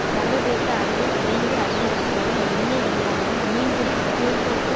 சர்வதேச அளவில் விரைந்து அதிகரித்து வரும் எண்ணெய் விலையானது மீன்பிடி போக்குவரத்து